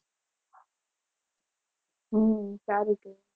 હમ સારુ કહેવાય.